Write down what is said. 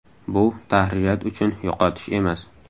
Bu tahririyat uchun yo‘qotish emas.